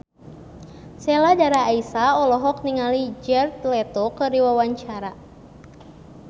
Sheila Dara Aisha olohok ningali Jared Leto keur diwawancara